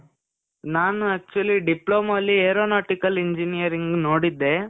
ನಾನು actually diploma ಅಲ್ಲಿ aeronautical engineering ನೋಡಿದ್ದೇ,